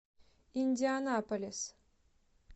индианаполис